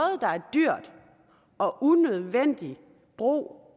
dyrt og unødvendig brug